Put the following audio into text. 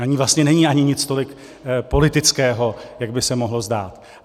Na ní vlastně není ani nic tolik politického, jak by se mohlo zdát.